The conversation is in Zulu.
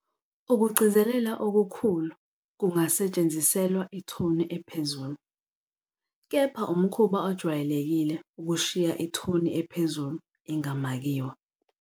Ukugcizelela okukhulu, ', kungasetshenziselwa ithoni ephezulu, kepha umkhuba ojwayelekile ukushiya ithoni ephezulu ingamakiwe.